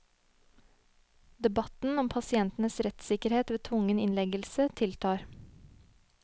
Debatten om pasientenes rettssikkerhet ved tvungen innleggelse tiltar.